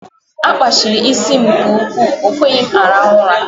A kpachiri ịsị m ike nke ụkwụ, ọ kweghị m aruhu ula